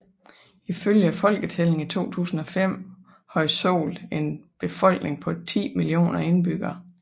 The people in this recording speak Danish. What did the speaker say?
Ifølge folketællingen i 2005 havde Seoul en befolkning på 10 millioner indbyggere